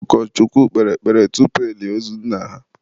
ụkọchukwu kpere ekpere tupu elie ozu nna ha